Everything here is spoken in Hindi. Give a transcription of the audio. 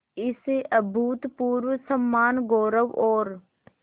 इस अभूतपूर्व सम्मानगौरव और